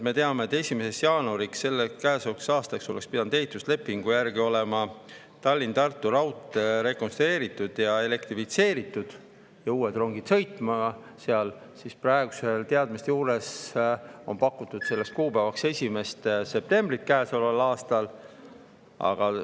Me teame, et 1. jaanuariks käesolevaks aastaks oleks pidanud ehituslepingu järgi olema Tallinna-Tartu raudtee rekonstrueeritud ja elektrifitseeritud ja uued rongid seal sõitma, aga praeguste teadmiste juures on pakutud selleks kuupäevaks 1. septembrit käesoleval aastal.